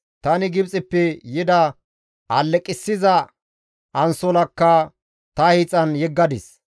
Tani Gibxeppe yida alleqissiza ansolakka ta hiixan yeggadis.